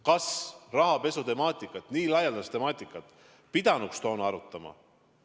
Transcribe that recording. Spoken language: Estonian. Kas rahapesutemaatikat, nii laialdast temaatikat pidanuks toona arutama?